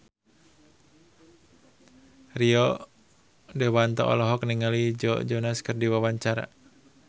Rio Dewanto olohok ningali Joe Jonas keur diwawancara